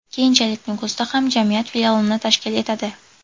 Keyinchalik Nukusda ham jamiyat filialini tashkil etadi.